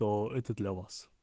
да это для вас